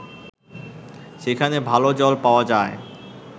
সেখানে ভালো জল পাওয়া যায়